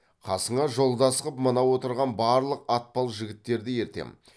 қасыңа жолдас қып мына отырған барлық атпал жігіттерді ертем